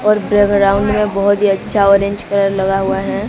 और बैकग्राउंड में बहोत ही अच्छा ऑरेंज कलर लगा हुआ है।